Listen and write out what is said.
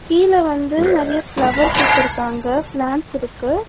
கீழ வந்து நெறைய ஃப்ளவர்ஸ் வெச்சிருக்காங்க. ப்ளான்ட்ஸ் இருக்கு.